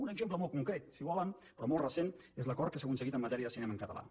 un exemple molt concret si ho volen però molt recent és l’acord que s’ha aconseguit en matèria de cinema en català